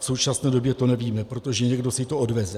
V současné době to nevíme, protože někdo si to odveze.